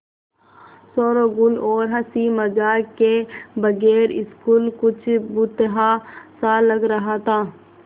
शोरोगुल और हँसी मज़ाक के बगैर स्कूल कुछ भुतहा सा लग रहा था